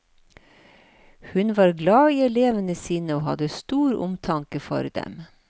Hun var glad i elevene sine, og hadde stor omtanke for dem.